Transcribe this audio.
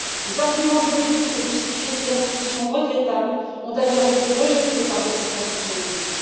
Les arguments juridiques pour justifier ces restrictions regrettables ont d'ailleurs été rejetés par notre Service juridique.